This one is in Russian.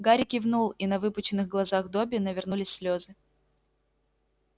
гарри кивнул и на выпученных глазах добби навернулись слезы